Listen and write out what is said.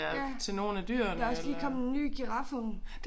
Ja der også lige kommet ny girafunge